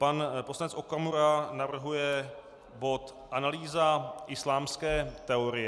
Pan poslanec Okamura navrhuje bod Analýza islámské teorie...